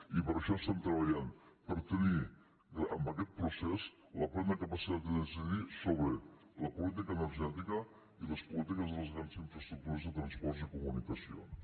i per això estem treballant per tenir amb aquest procés la plena capacitat de decidir sobre la política energètica i les polítiques de les grans infraestructures de transports i comunicacions